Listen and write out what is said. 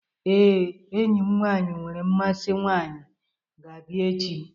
Ee, enyi m nwaanyị nwere mmasị nwaanyị ga-abịa echi.